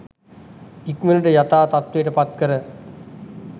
ඉක්මනට යථා තත්වයට පත් කර